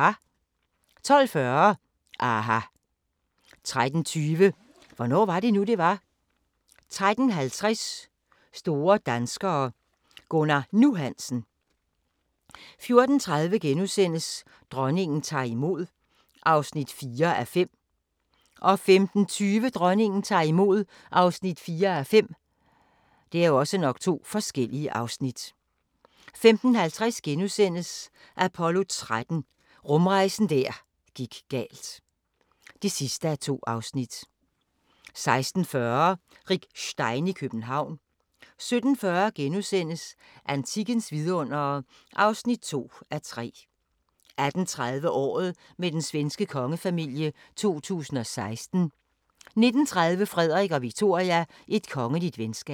12:40: aHA! 13:20: Hvornår var det nu, det var? 13:50: Store danskere - Gunnar "Nu" Hansen 14:30: Dronningen tager imod (4:5)* 15:20: Dronningen tager imod (4:5) 15:50: Apollo 13 – rumrejsen der gik galt (2:2)* 16:40: Rick Stein i København 17:40: Antikkens vidundere (2:3)* 18:30: Året med den svenske kongefamilie 2016 19:30: Frederik og Victoria – Et kongeligt venskab